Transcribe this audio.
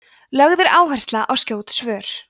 lögð er áhersla á skjót svör